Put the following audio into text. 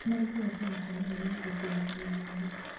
nĩmaringaga ciama cia maheni nĩguo kũgucĩrĩria andũ